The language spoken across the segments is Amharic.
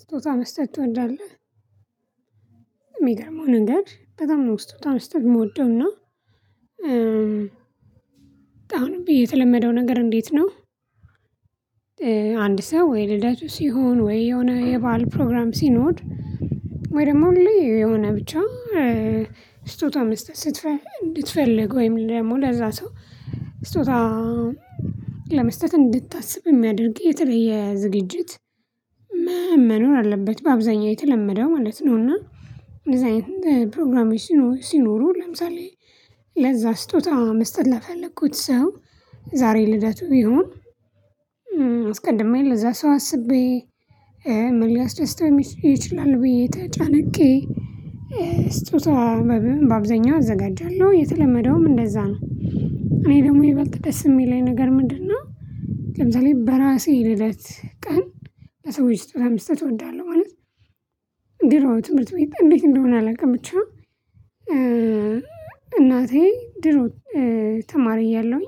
ስጦታ መስጠት ትወዳለህ የሚገርመው ነገር በጣም ነው ስጦታ መስጠት የምወደው እና አሁንም የተለመደው ነገር እንዴት ነው? አንድ ሰው ወይ ልደቱ ሲሆን ወይ የሆነ የባህል ፕሮግራም ሲኖር ወይ ደግሞ ሁሌ የሆነ ብቻ ስጦታ መስጠት ስትፈልግ እንድትፈልግ ወይም ደግሞ ለዛ ሰው ስጦታ ለመስጠት እንድታስብ የሚያደርግ የተለየ ዝግጅት መኖር አለበት በአብዛኛው የተለመደው ማለት ነው። እና እንደዚህ አይነት ፕሮግራሞች ሲኖሩ ለምሳሌ ለዛ ስጦታ መስጠት ለፈለኩት ሰው ዛሬ ልደቱ ቢሆን አስቀድማዬ ለዛ ሰው አስቤ ምን ሊያስደስተው የሚችል ይችላል ብዬ ተጨንቄ ስጦታ በአብዛኛው አዘጋጃለሁ የተለመደውም እንደዛ ነው። እኔ ደግሞ ይበልጥ ደስ የሚል ነገር ምንድነው? ለምሳሌ በራሴ ልደት ቀን ለሰዎች ስጦታ መስጠት እወዳለሁ። ማለት ድሮ ነው ትምህርት ቤት እንዴት እንደሆነ አላውቅም ብቻ እናቴ ድሮ ተማሪ እያለሁኝ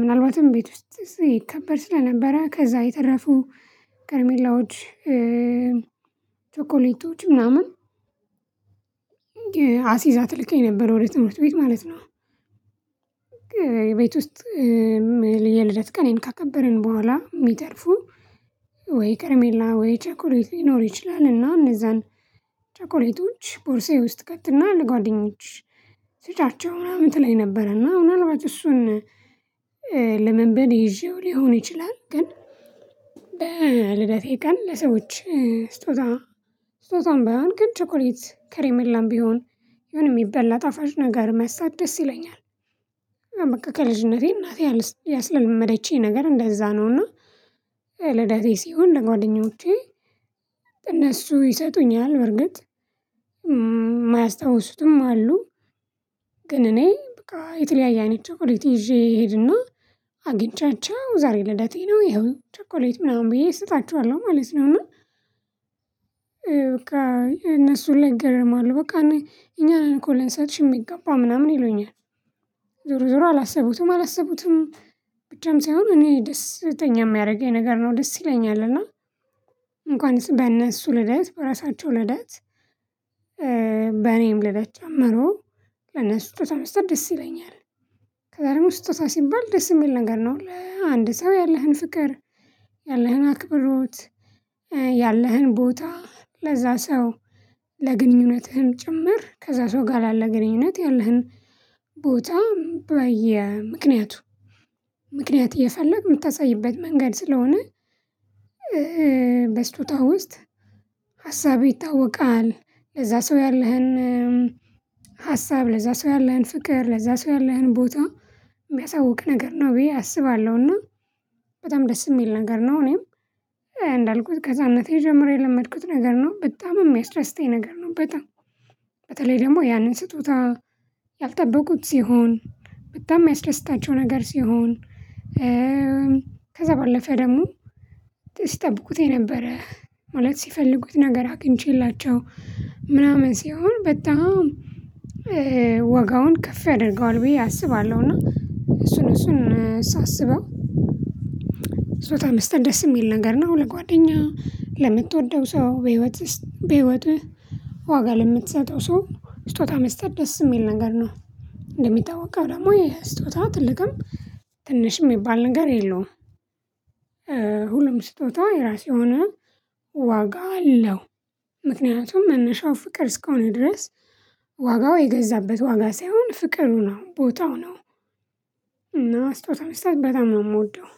ምናልባትም ቤት ውስጥ ይከበር ስለነበረ ከዛ የተረፉ ከርሜላዎች ቸኮሌቶች ምናምን አሲዛ ትልከኝ ነበር ወደ ትምህርት ቤት ማለት ነው። ቤት ውስጥ የልደት ቀኔን ካከበርን በኋላ የሚተርፉ ወይ ከርሜላ ወይ ቸኮሌት ሊኖር ይችላልና እነዛን ቸኮሌቶች ቦርሳዬ ውስጥ ትከትና ለጓደኞችሽ ስጫቸው ምናምን ትለኝ ነበር እና አሁን ምን አልባት እሱን ልምምድ ይዤው ሊሆን ይችላል። ግን ለልደቴ ቀን ለሰዎች ስጦታ ስጦታም ባይሆን ግን ቸኮሌት ከሬምላም ቢሆን የሆነ የሚበላ ጣፋጭ ነገር መስጠጥ ደስ ይለኛል። በቃ ከልጅነቴ እናቴ ያስለመደችኝ ነገር እንደዛ ነው። እና ልደቴ ሲሆን ለጓደኞቼ እነሱ ይሰጡኛል በርግጥ የማያስታውሱትም አሉ ግን እኔ በቃ የተለያየ አይነት ቸኮሌት ይዤ እሄድና አግኝቻቸው ዛሬ ልደቴ ነው ይኸው ቸኮሌት ምናምን ብዬ እሰጣቸዋለሁ ማለት ነው። እና በቃ እነሱን ሁላ ይገርማሉ በቃ እኛ ነን እኮ ልንሰጥሽ የሚገባ ምናምን ይሉኛል ዞሮ ዞሮ አላሰቡትም አላሰቡትም ብቻም ሳይሆን እኔ ደስተኛ የሚያደርገኝ ነገር ነው ደስ ይለኛል። እና እንኳን በእነሱ ልደት በራሳቸው ልደት በእኔም ልደት ጀመሮ ለነሱ ስጦታ መስጠት ደስ ይለኛል። ከዛ ደግሞ ስጦታ ሲባል ደስ የሚል ነገር ነው። ለአንድ ሰው ያለህን ፍቅር ያለህን አክብሮት ያለህን ቦታ ለዛ ሰው ለግንኙነትህም ጭምር ከዛ ሰው ጋር ያለ ግንኙነት ያለህን ቦታ በየ ምክንያቱ ምክንያት እየፈለግክ የምታሳይበት መንገድ ስለሆነ በስጦታ ውስጥ ሀሳብህ ይታወቃል ለዛ ሰው ያለህን ሀሳብ ለዛ ሰው ያለህን ፍቅር ለዛ ሰው ያለህን ቦታ የሚያሳውቅ ነገር ነው ብዬ አስባለሁና በጣም ደስ የሚል ነገር ነው። እኔም እንዳልኩት ከህፃንነቴ ጀምሮ የለመድኩት ነገር ነው በጣም የሚያስደስተኝ ነገር ነው። በጣም በተለይ ደግሞ ያንን ስጦታ ያልጠበቁት ሲሆን በጣም የሚያስደስታቸው ነገር ሲሆን ከዛ ባለፈ ደግሞ ሲጠብቁት የነበረ ማለት ሲፈልጉት ነገር አግኝቼላቸው ምናምን ሲሆን በጣም ዋጋውን ከፍ ያደርገዋል ብዬ አስባለሁ። እና እሱን እሱን ሳስበው ስጦታ መስጠት ደስ የሚል ነገር ነው። ለጓደኛ ለምትወደው ሰው በህይወትህ በህይወትህ ዋጋ ለምትሰጠው ሰው ስጦታ መስጠት ደስ የሚል ነገር ነው። እንደሚታወቀው ደግሞ የ ስጦታ ትልቅም ትንሽ የሚባል ነገር የለውም። ሁሉም ስጦታ የራሱ የሆነ ዋጋ አለው። ምክንያቱም መነሻው ፍቅር እስከሆነ ድረስ ዋጋው የገዛበት ዋጋ ሳይሆን ፍቅሩ ነው ቦታው ነው እና ስጦታ መስጠት በጣም ነው የምወደው።